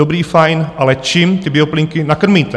Dobré, fajn, ale čím ty bioplynky nakrmíte?